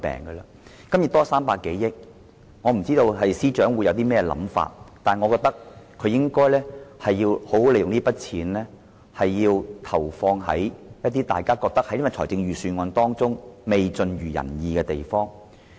對於盈餘多出300多億元，我不知司長有甚麼想法，但我認為他應好好利用這筆錢，投放在一些大家認為預算案未盡如人意的地方。